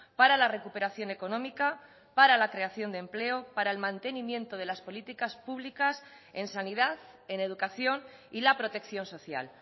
para la recuperación económica para la creación de empleo para el mantenimiento de las políticas públicas en sanidad en educación y la protección social